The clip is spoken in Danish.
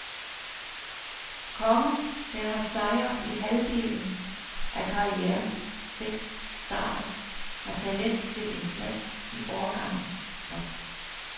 Kongen, der har sejret i halvdelen af karrierens seks starter, har talent til en plads i årgangens top.